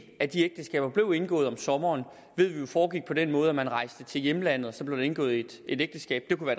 af de ægteskaber der blev indgået om sommeren foregik på den måde at man rejste til hjemlandet og så blev indgået et ægteskab det kunne